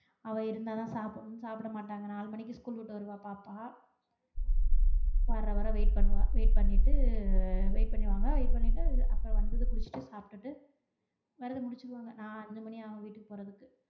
அவ இருந்த தா சாப்டனும் சாப்ட மாட்டாங்க நாலு மணிக்கு ஸ்கூல் விட்டு வருவா பாப்பா வர்ற வர wait பண்ணுவா wait பண்ணிட்டு அஹ் wait பண்ணுவாங்க wait பண்ணிட்டு அப்றம் வந்ததும் குளிச்சுட்டு சாப்ட்டுட்டு வெரதம் முச்சுருவாங்க நா அஞ்சு மணி ஆகும் வீட்டுக்கு போறதுக்கு